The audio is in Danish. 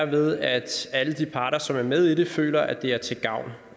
ved at alle de parter som er med i det føler at det er til gavn